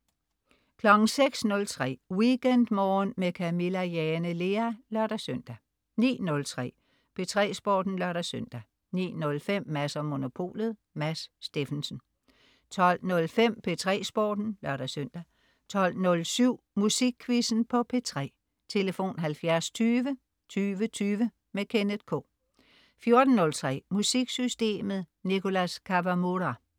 06.03 WeekendMorgen med Camilla Jane Lea (lør-søn) 09.03 P3 Sporten (lør-søn) 09.05 Mads & Monopolet. Mads Steffensen 12.05 P3 Sporten (lør-søn) 12.07 Musikquizzen på P3. Tlf.: 70 20 20 20. Kenneth K 14.03 MusikSystemet. Nicholas Kawamura